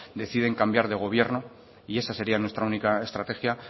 deciden cambiar de gobierno y esa sería nuestra única estrategia